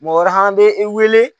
Mɔgɔ hɛrɛ i wele.